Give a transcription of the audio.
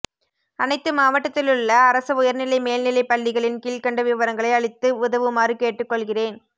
அனைத்து மாவட்டத்திலுள்ள அரசு உயர்நிலை மேல்நிலை பள்ளிகளின் கிழ்கண்ட விவரங்களை அளித்து உதவுமாறு கேட்டுகொள்கிறேன்